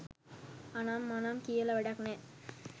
අනම් මනම් කියලා වැඩක් නෑ